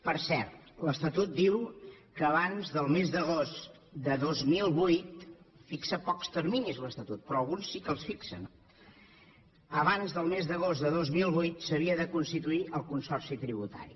per cert l’estatut diu que abans del mes d’agost de dos mil vuit fixa pocs terminis l’estatut però alguns sí que els fixa no s’havia de constituir el consorci tributari